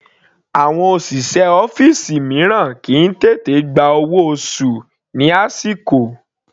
Àwọn òṣìṣẹ́ ọ́fìsì mìíràn kìí tètè gba owó oṣù ní àsìkò.